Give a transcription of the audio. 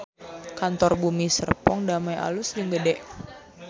Kantor Bumi Serpong Damai alus jeung gede